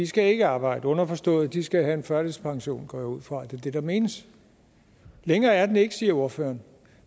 skal ikke arbejde underforstået at de skal have en førtidspension jeg går ud fra at det er det der menes længere er den ikke siger ordføreren